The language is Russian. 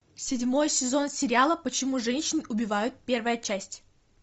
седьмой сезон сериала почему женщин убивают первая часть